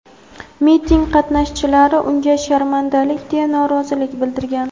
Miting qatnashchilari unga "sharmandalik", deya norozilik bildirgan.